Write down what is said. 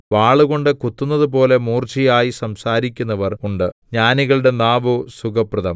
വാളുകൊണ്ട് കുത്തുന്നതുപോലെ മൂർച്ചയായി സംസാരിക്കുന്നവർ ഉണ്ട് ജ്ഞാനികളുടെ നാവോ സുഖപ്രദം